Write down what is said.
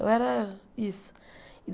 Eu era isso.